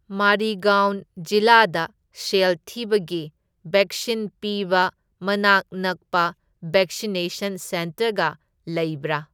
ꯃꯔꯤꯒꯥꯎꯟ ꯖꯤꯂꯥꯗ ꯁꯦꯜ ꯊꯤꯕꯒꯤ ꯕꯦꯛꯁꯤꯟ ꯄꯤꯕ ꯃꯅꯥꯛ ꯅꯛꯄ ꯕꯦꯛꯁꯤꯅꯦꯁꯟ ꯁꯦꯟꯇꯔꯒ ꯂꯩꯕ꯭ꯔꯥ?